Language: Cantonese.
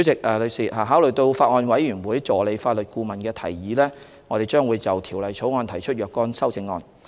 代理主席，考慮到法案委員會助理法律顧問的提議，我們將會就《條例草案》提出若干修正案。